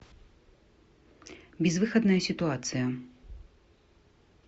безвыходная ситуация